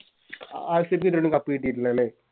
RCB ക്ക് ഇതവരായിട്ടും Cup കിട്ടീട്ടില്ല ലെ